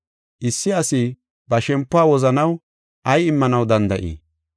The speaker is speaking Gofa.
Issi asi ba shempuwa wozanaw ay immanaw danda7ii?